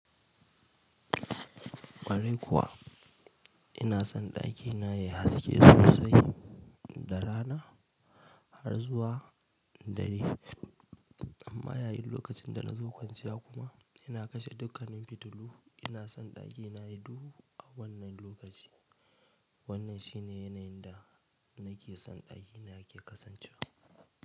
Ƙwarai kuwa, ina son ɗakina ya yi haske sosai da rana har zuwa dare amma yayin lokacin da na zo kwanciya kuma ina kashe dukkanin fitilu, ina son ɗakina ya yi duhu a wannan lokaci. Wannan shi ne yanayin da na ke son ɗakina ya ke kasancewa.